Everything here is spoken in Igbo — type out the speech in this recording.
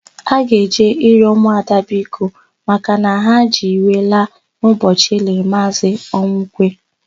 A ga-eje ịrịọ ụmụada biko makana ha ji iwe laa n'ụbọchị e liri Maazị Ọnwụkwe.